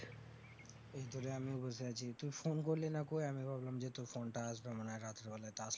এইতোরে আমিও বসে আছি তুই phone করলিনা কই আমি ভাবলাম যে তোর phone টা আসবে মনে হয় রাত্রে বেলায়